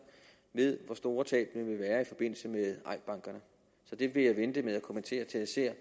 hvor store tabene vil være i forbindelse med eik bank det vil jeg vente med at kommentere til jeg ser